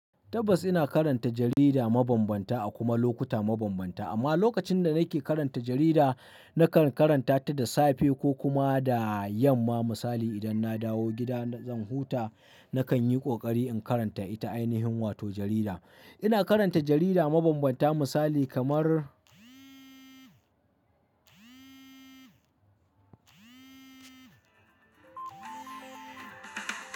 Tabbas ina karanta jarida mabambanta a kuma lokuta mabambanta. Amma lokacin da nake karanta jarida, nakan karanta ta da safe ko kuma da yamma. Misali idan na dawo gida zan huta, nakan yi ƙoƙari in karanta ita ainihin wato jarida. Ina karanta jarida mabambanta misali kamar.